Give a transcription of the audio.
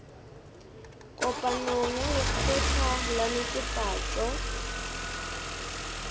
kopanong ya lekgotla la netefatšo